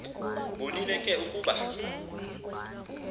bonile ke ukuba